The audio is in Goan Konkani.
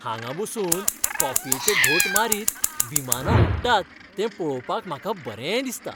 हांगा बसून कॉफयेचे घोंट मारीत विमानां उडटात तें पळोवपाक म्हाका बरें दिसता.